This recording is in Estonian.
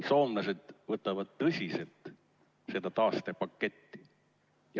Soomlased võtavad tõsiselt seda taastepaketti.